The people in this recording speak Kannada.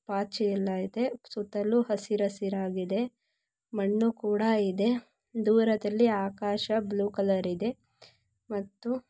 ಪಾಚಿ ಎಲ್ಲ ಇದೆ-- ಸುತ್ತಲೂ ಹಸಿರು ಹಸಿರ್ ಹಸಿರಾಗಿದೆ. ಮಣ್ಣು ಕೂಡ ಇದೆ. ದೂರದಲ್ಲಿ ಆಕಾಶ ಬ್ಲೂ ಕಲರ್ ಇದೆ. ಮತ್ತು--